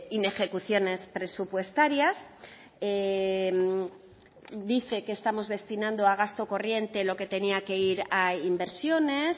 inejecuciones presupuestarias dice que estamos destinando a gasto corriente lo que tenía que ir a inversiones